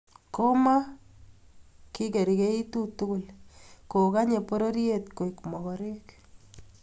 koma ki kergeitu tugul ko Kanye pororiet koek magorek